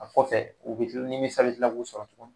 A kɔfɛ u bɛ nimisa bɛ tila k'u sɔrɔ tugun